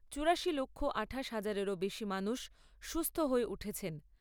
চুড়াশি লক্ষ আঠাশ হাজারেরও বেশি মানুষ সুস্থ হয়ে উঠেছেন।